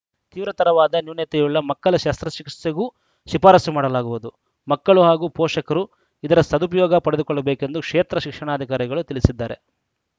ತೀವ್ರತರವಾದ ನ್ಯೂನತೆಯುಳ್ಳ ಮಕ್ಕಳ ಶಸ್ತ್ರ ಚಿಕಿತ್ಸೆಗೂ ಶಿಫಾರಸು ಮಾಡಲಾಗುವುದು ಮಕ್ಕಳು ಹಾಗೂ ಪೋಷಕರು ಇದರ ಸದುಪಯೋಗ ಪಡೆದುಕೊಳ್ಳಬೇಕೆಂದು ಕ್ಷೇತ್ರ ಶಿಕ್ಷಣಾಧಿಕಾರಿಗಳು ತಿಳಿಸಿದ್ದಾರೆ